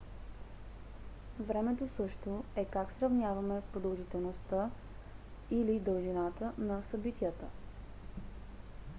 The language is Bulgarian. времето също е как сравняваме продължителността дължината на събитията